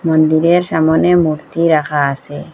মন্দিরের সামোনে মূর্তি রাখা আসে।